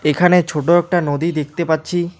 এখানে ছোট একটা নদী দেখতে পাচ্ছি।